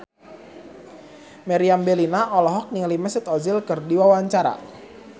Meriam Bellina olohok ningali Mesut Ozil keur diwawancara